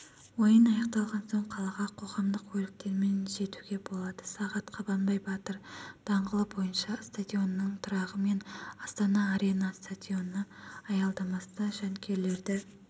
ойын аяқталған соң қалаға қоғамдық көліктермен жетуге болады сағат қабанбай батыр даңғылы бойынша стадионның тұрағы мен астана арена стадионы аялдамасында жанкүйерлерді